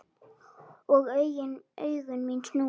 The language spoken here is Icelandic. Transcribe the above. Og augu mín snúast.